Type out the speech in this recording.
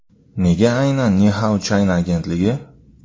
Nega aynan Ni Hao China agentligi?